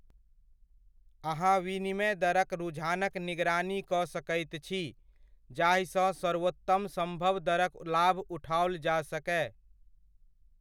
अहाँ विनिमय दरक रुझानक निगरानी कऽ सकैत छी जाहिसँ सर्वोत्तम सम्भव दरक लाभ उठाओल जा सकय।